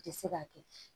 Tɛ se ka kɛ